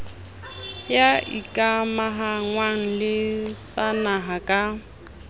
ho ikamahangwa le tsanaha ka